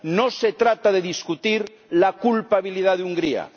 No se trata de discutir la culpabilidad de Hungría